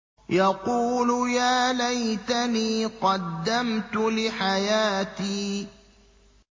يَقُولُ يَا لَيْتَنِي قَدَّمْتُ لِحَيَاتِي